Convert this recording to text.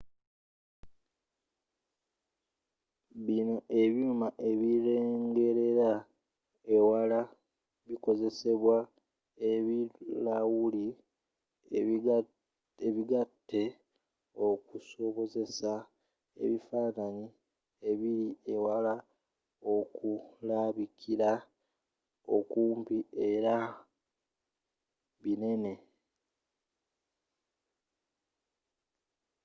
bino ebyuuma ebirengerera ewala bikozesa ebirawuli ebigatte okusobozesa ebifaananyi ebiri ewala okulabikira okumpi era nga binene